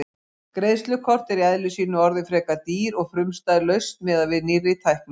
Greiðslukort eru í eðli sínu orðin frekar dýr og frumstæð lausn miðað við nýrri tækni.